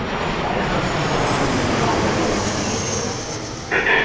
а я как сказал делано удивился сергей